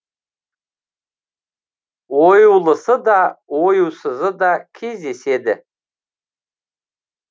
оюлысы да оюсызы да кездеседі